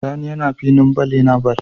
Sani yAna filin ball yAna ball